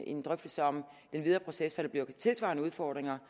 en drøftelse om den videre proces der bliver af tilsvarende udfordringer